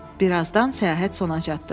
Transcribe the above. Birazdan səyahət sona çatdı.